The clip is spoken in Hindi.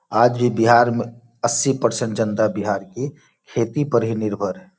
आज भी बिहार में अस्सी परसेंट जनता बिहार की खेती पर ही निर्भर है।